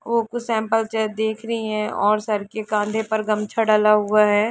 वो कुछ simple chair देख रही है और सर के कांधे पर एक गमछा डला हुआ है।